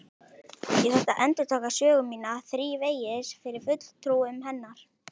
Ég þurfti að endurtaka sögu mína þrívegis fyrir fulltrúum hennar.